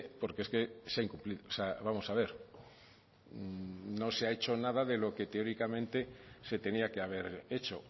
porque es que se ha incumplido o sea vamos a ver no se ha hecho nada de lo que teóricamente se tenía que haber hecho